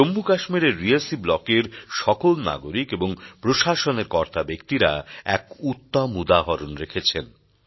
জম্মু কাশ্মীরের রিয়াসী ব্লকের সকল নাগরিক এবং প্রশাসনের কর্তাব্যক্তিরা এক উত্তম উদাহরণ রেখেছেন